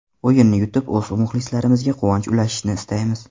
O‘yinni yutib o‘z muxlislarimizga quvonch ulashishni istaymiz.